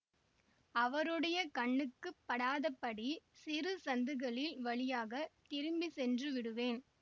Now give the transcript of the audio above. அவருடைய கண்ணுக்கு படாத படி சிறு சந்துகளில் வழியாக திரும்பி சென்று விடுவேன்